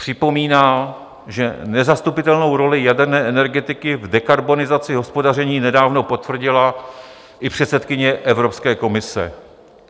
Připomíná, že nezastupitelnou roli jaderné energetiky v dekarbonizaci hospodaření nedávno potvrdila i předsedkyně Evropské komise.